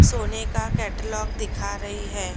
सोने का कैटालॉग दिखा रही है।